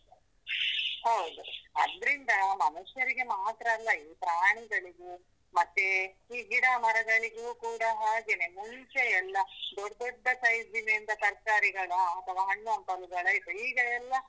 ಹೌದು, ಅದ್ರಿಂದ ಮನುಷ್ಯರಿಗೆ ಮಾತ್ರ ಅಲ್ಲ ಪ್ರಾಣಿಗಳಿಗು ಮತ್ತೆ ಈ ಗಿಡ ಮರಗಳಿಗು ಕೂಡ ಹಾಗೇನೆ ಮುಂಚೆ ಎಲ್ಲ ದೊಡ್ ದೊಡ್ಡ size ನ ಎಲ್ಲ ತರ್ಕಾರಿಗಳ ಅಥವ ಹಣ್ಣು ಹಂಪಲುಗಳ ಇತ್ತು ಈಗ ಎಲ್ಲ.